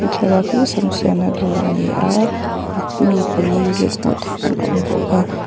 thlalak hi sam siamna dawr a ni a mi pali vel hmuh theih an awm bawk a.